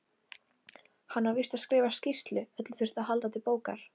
Hann var víst að skrifa skýrslu, öllu þurfti að halda til bókar.